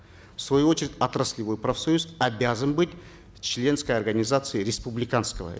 в свою очередь отраслевой профсоюз обязан быть в членской организации республиканского